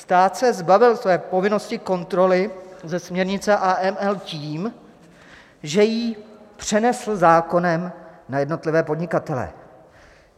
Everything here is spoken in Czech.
Stát se zbavil své povinnosti kontroly ze směrnice AML tím, že ji přenesl zákonem na jednotlivé podnikatele.